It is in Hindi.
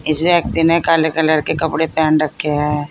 इस व्यक्ति ने काले कलर के कपडे पहन रखे हैं।